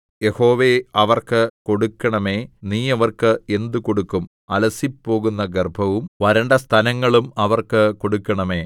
യഹോവേ അവർക്ക് കൊടുക്കണമേ നീ അവർക്ക് എന്തുകൊടുക്കും അലസിപ്പോകുന്ന ഗർഭവും വരണ്ട സ്തനങ്ങളും അവർക്ക് കൊടുക്കണമേ